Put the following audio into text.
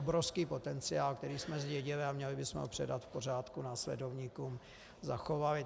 Obrovský potenciál, který jsme zdědili, a měli bychom ho předat v pořádku následovníkům, zachovali.